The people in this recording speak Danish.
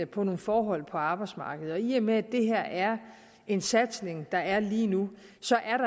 på nogle forhold på arbejdsmarkedet i og med at det her er en satsning der er lige nu